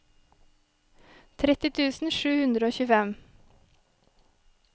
tretti tusen sju hundre og tjuefem